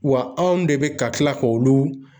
Wa anw de be ka kila k'olu